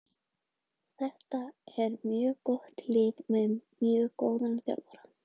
Þetta er mjög gott lið með mjög góðan þjálfara.